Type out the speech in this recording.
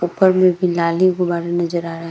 ऊपर में भी लाली गुब्बारा नजर आ रहा है ।